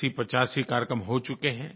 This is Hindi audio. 8085 कार्यक्रम हो चुके हैं